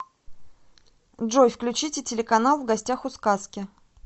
джой включите телеканал в гостях у сказки